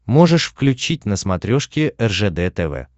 можешь включить на смотрешке ржд тв